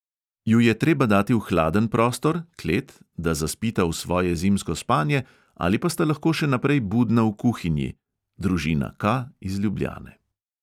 "Ju je treba dati v hladen prostor da zaspita v svoje zimsko spanje, ali pa sta lahko še naprej budna v kuhinji?" družina K iz ljubljane.